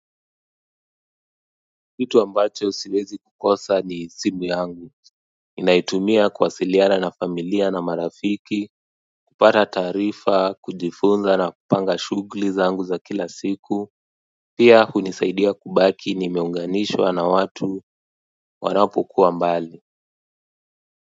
Kitu ambacho siwezi kukosa ni simu yangu naitumia kuwasiliana na familia na marafiki kupata taarifa, kujifunza na kupanga shughuli zangu za kila siku pia hunisaidia kubaki nimeunganishwa na watu wanapokuwa mbali.